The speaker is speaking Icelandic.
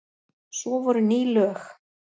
Svo voru ný lög.